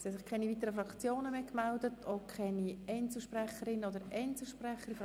Es haben sich keine weiteren Fraktionen gemeldet und auch keine Einzelsprechenden.